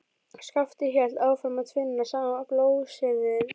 Skapti hélt áfram að tvinna saman blótsyrðin.